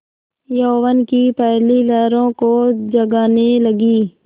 यौवन की पहली लहरों को जगाने लगी